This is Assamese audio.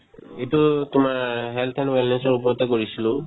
এইটো তোমাৰ health and wellness ৰ ওপৰতে কৰিছিলো